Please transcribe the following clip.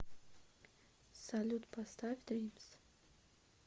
салют поставь дримс